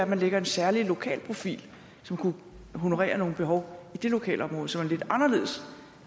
man lægger en særlig lokalprofil som kunne honorere nogle behov i det lokalområde som er lidt anderledes